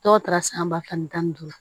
Dɔw taara san ba fila ni tan ni duuru